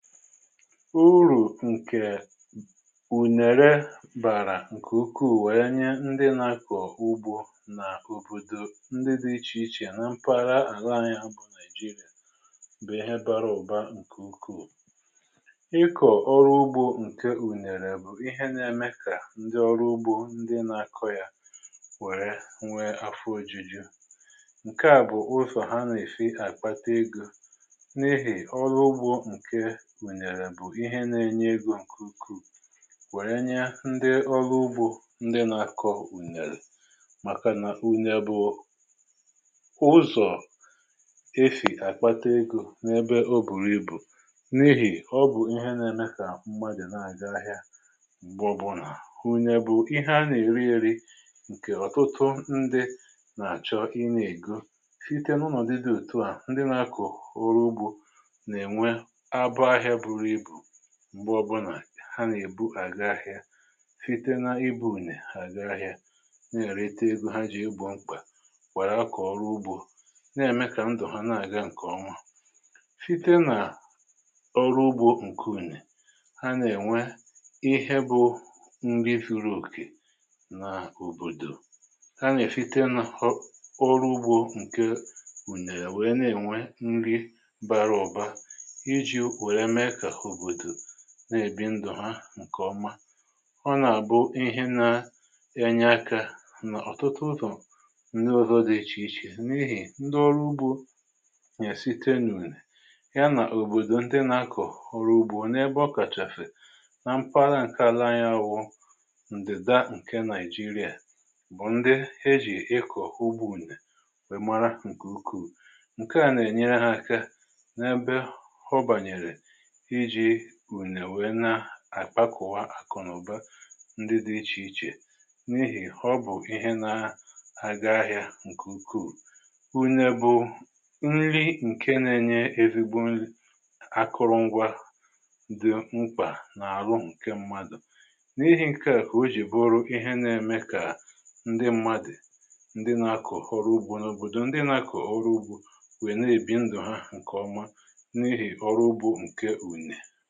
uru̇ nkè ùnère bàrà nkè ukwu wee nyè ndị n'ȧkọ̀ oru ugbȯ nà òbòdò ndị dị̇ ichè ichè na mpara àla anyị bụ̀ naijiria, bụ̀ ihe bara ụ̀ba nkè ukwuù.ịkọ̀ ọrụ ugbȯ nkè ùnère bụ̀ ihe nȧ-ème kà, ndị ọrụ ugbȯ ndị na-akọ̇ yȧ nwère nwee afọ ȯjuju ǹke à bụ̀ ụzọ̀ ha nà-èsi àkpata egȯ n’ihì ọrụ ugbȯ nkè ùnèrè bu ihe nȧ-ėnyė egȯ ǹkè ukwu̇. wèrè nye ndị ọlụ ugbȯ ndị nȧ-akọ̇ ùnèrè, Maka na ùnèrè bu ụzọ̀ e sì àkpata egȯ n’ebe o bùrù ibù n’ihì ọ bụ̀ ihe na-eme kà mmadụ̀ na-aga ahịa m̀gbọ bụ̀ nà ùnèrè bu ihe a nà-eri eri ǹkè ọ̀tụtụ ndị nà-àchọ ịna ègo site na onodu di otuu a ndi na a ko oru ugbo na enwe abo ahïa bụru ibú, m̀gbe ọbụnà ha nà-èbu àga ahịȧ site na ibu̇ ùne ha àga ahịȧ na-èrete ego ha jì egbo mkpà mgbe ha akọ̀ ọrụ ugbȯ na-ème kà ndụ̀ ha na-àga ǹkè oma site nà ọrụ ugbȯ ǹke ùne ha nà-ènwe ihe bụ nri zuru òkè nà òbòdò ha nà-èsite n’ọrụ ugbȯ ǹke ùnèrè wèe na-ènwe nri bàrà uba iji wee mee kà obodo na-èbi ndụ̀ ha ǹkè ọma. ọ nà-àbụ ihe na enye akȧ nà ọ̀tụtụ ụzọ̀ ǹdi ọzọ dị̀ ichè ichè ,n’ihì ndị ọrụ ugbȯ na site n’ùnè ya nà òbòdò ndị nà-akọ̀ ọrụ ugbȯ nà ebe ọ kàchàfè na mkpa laa ǹke ala n’anyi bu ǹdèda ǹke nàịjirịà bụ̀ ndị e jì ịkọ̀ ugbȯ únè wèe mara ǹkè ukwù ǹka à nà-ènyere hȧ aka n’ebe oba nyere iji únè wèe na àkpakọ̀wa àkụ̀nàụ̀ba ndị dị̇ ichè ichè n’ihì ọ bụ̀ ihe na aga ahị̇ȧ ǹkè ukwu. ùnè bụ̇ nri ǹke na-enye ezigbo nri akụrụngwa dị̀ mkpà nà àlụ ǹke mmadụ̀ n’ihi ǹke à kà o jì bụ ru ihe na-eme kà ndị mmadụ̀ ndị nȧ-akọ̀ ọrụ ugbȯ n’òbòdò ndị nȧ-akọ̀ ọrụ ugbȯ nwè na-èbi ndụ̀ hà ǹkèọma n'ihi orụ ugbo nke ùnè.